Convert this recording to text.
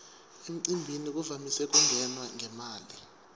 emcimbini kuvamise kungenwa ngemali